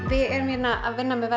hérna að vinna með